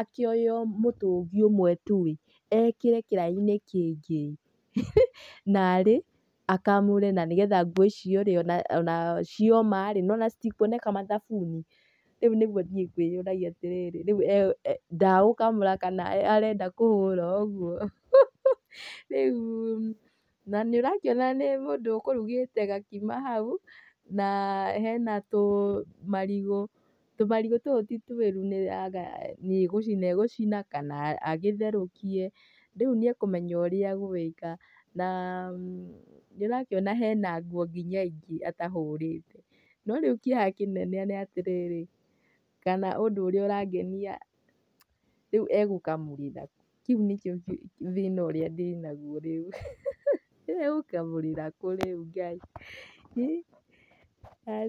akĩoe mũtũngi ũmwe tu ĩ,ekĩre kĩraĩ-inĩ kĩngĩ, ihi! narĩ akamũre na nĩgetha ona nguo icio cioma rĩ, nĩwona citikuoneka mathabuni? Rĩu nĩguo niĩ ngwĩyũragia atĩrĩrĩ, rĩu ndagũkamũra kana arenda kũhũra ũguo?hu!hu! Rĩu na nĩũrakĩona nĩ mũndũ ũkũrugĩte gakima hau na he na tũmarigũ. Tũmarigũ tũu ti tũĩru kana nĩ gũcina egũcina kana agĩtherũkie. Rĩu nĩekũmenya ũrĩa egũĩka na nĩũrakĩona he na nguo kinya ingĩ atahũrĩte.No rĩu kĩeha kĩnene nĩatĩrĩrĩ, kana ũndũ ũrĩa ũrangenia rĩu egũkamũrĩra kũ? Kĩu nĩkĩo, thĩna ũrĩa ndĩnaguo rĩu. egũkamũrĩra kũ rĩu Ngai?